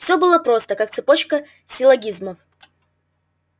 всё было просто как цепочка силлогизмов